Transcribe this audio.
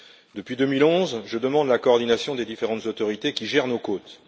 Depuis 2011, je demande la coordination des différentes autorités qui gèrent nos côtes.